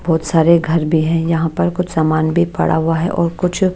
बहुत सारे घर भी हैं यहाँ पर कुछ सामान भी पड़ा हुआ है और कुछ--